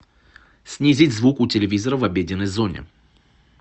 снизить звук у телевизора в обеденной зоне